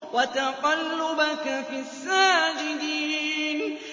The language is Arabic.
وَتَقَلُّبَكَ فِي السَّاجِدِينَ